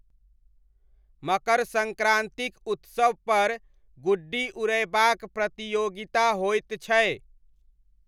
मकर सङ्क्रान्तिक उत्सवपर गुड्डी उड़यबाक प्रतियोगिता होइत छै।